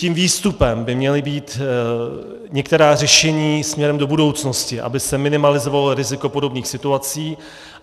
Tím výstupem by měla být některá řešení směrem do budoucnosti, aby se minimalizovalo riziko podobných situací.